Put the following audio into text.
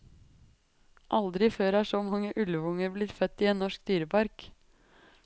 Aldri før er så mange ulvunger blitt født i en norsk dyrepark.